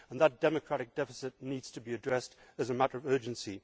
That democratic deficit needs to be addressed as a matter of urgency.